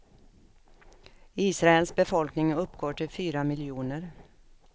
Israels befolkning uppgår till fyra miljoner.